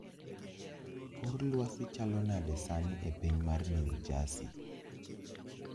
Kor lwasi chalo nade sani epiny mar new jersey